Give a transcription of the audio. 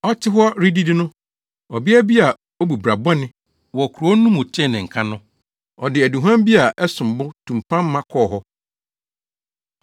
Ɔte hɔ redidi no, ɔbea bi a obu bra bɔne wɔ kurow no mu tee ne nka no, ɔde aduhuam bi a ɛsom bo tumpan ma kɔɔ hɔ.